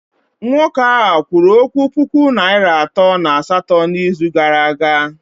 Nwoke a kwụrụ puku naịra atọ na asatọ n'izuụka gara aga?